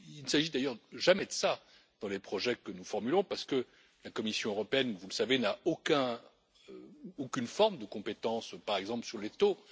Il ne s'agit d'ailleurs jamais de cela dans les projets que nous formulons parce que la Commission européenne, vous le savez, n'a aucune forme de compétence par exemple sur les taux.